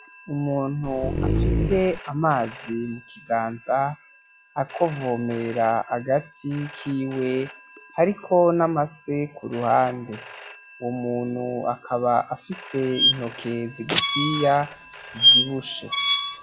Umuntu afise amazi mukiganza, ariko avomera agati kiwe ,hariko n'amase kuruhande ;uwo muntu akaba afise intoke zigufiya zivyibushe.